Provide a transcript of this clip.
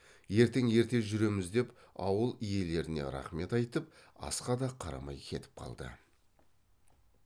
ертең ерте жүреміз деп ауыл иелеріне рақмет айтып асқа да қарамай кетіп қалды